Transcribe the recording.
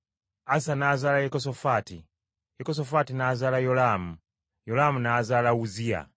Asa n’azaala Yekosafaati, Yekosafaati n’azaala Yolaamu, Yolaamu n’azaala Uzziya.